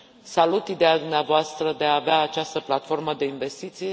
Salut ideea dumneavoastră de a avea această platformă de investiții.